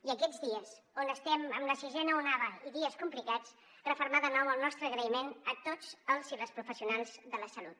i aquests dies on estem amb la sisena onada i dies complicats refermar de nou el nostre agraïment a tots els i les professionals de la salut